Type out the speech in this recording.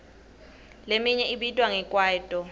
leminye ibitwa nge kwaito